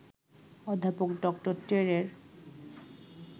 অধ্যাপক ডক্টর টেরের